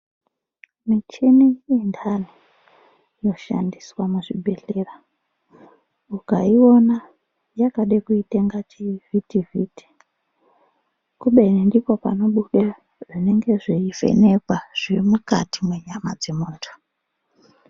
Muchini yandani inoshandiswa kuzvibhehleya ukaiona yakada kuita chivhitivhiti kubeni ndipo panobuda zvinenge zveivhenekwa zviri mukati menyama memundu.